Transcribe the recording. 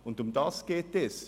Darum geht es.